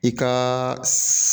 I ka